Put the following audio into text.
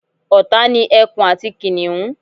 ọ̀tá ni ẹkun àti kìnìhún